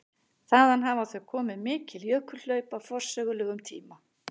Þaðan hafa þó komið mikil jökulhlaup á forsögulegum tíma.